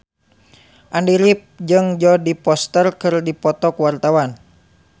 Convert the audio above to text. Andy rif jeung Jodie Foster keur dipoto ku wartawan